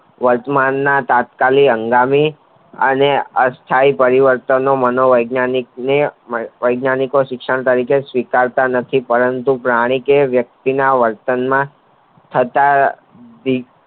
વર્તમાનમાં તાત્કાલિક હંગામી અને અસ્થાયી પરિવર્તનો મનો વૈજ્ઞાનિક શિક્ષણ સ્વીકરતા નથીં પરંતુ પ્રાણી કે વ્યક્તિના થતા